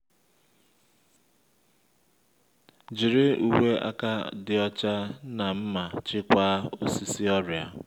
jiri uwe aka dị ọcha na nma chịkwaa osisi ọrịa